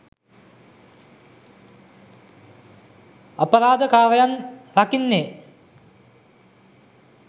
අපරාධ කාරයන් රකින්නේ